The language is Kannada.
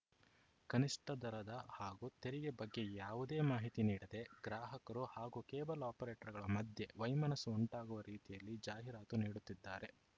ಕನಿಷ್ಠ ದರದ ಹಾಗೂ ತೆರಿಗೆ ಬಗ್ಗೆ ಯಾವುದೇ ಮಾಹಿತಿ ನೀಡದೇ ಗ್ರಾಹಕರು ಹಾಗೂ ಕೇಬಲ್‌ ಆಪರೇಟರ್‌ಗಳ ಮಧ್ಯೆ ವೈಮನಸ್ಸು ಉಂಟಾಗುವ ರೀತಿಯಲ್ಲಿ ಜಾಹೀರಾತು ನೀಡುತ್ತಿದ್ದಾರೆ